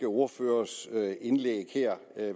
ordførers indlæg her